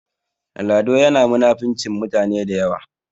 Lado yana munafincin mutane da yawa